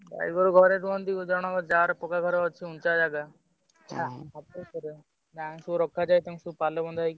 ଗାଈଗୋରୁ ଘରେ ରୁହନ୍ତି, ଜଣଙ୍କ ଯାହାର କୋଠା ଘର ଅଛି ଉଞ୍ଚା ଜାଗା ଗାଁ ରେ ସବୁ ରଖାଯାଏ ତାଙ୍କୁ ସବୁ ପାଲ ବନ୍ଧା ହେଇକି।